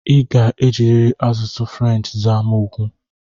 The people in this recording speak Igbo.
I ga-ejirịrị asụsụ French saa m okwu!